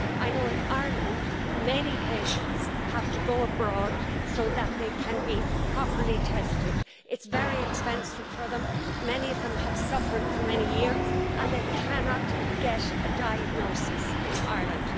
I know in Ireland many patients have to go abroad so that they can be properly tested. It's very expensive for them, many of them have suffered for many years and they cannot get a diagnosis in Ireland.